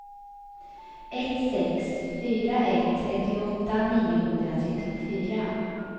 ett sex fyra ett trettioåtta niohundratrettiofyra